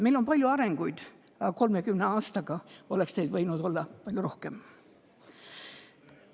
Me oleme palju arenenud, aga 30 aastaga oleksime võinud areneda palju rohkem.